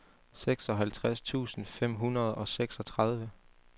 seksoghalvtreds tusind fem hundrede og seksogtredive